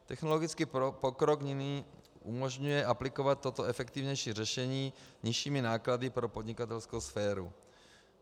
Technologický pokrok nyní umožňuje aplikovat toto efektivnější řešení nižšími náklady pro podnikatelskou sféru.